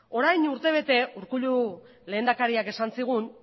orain urtebete urkullu lehendakariak esan zigun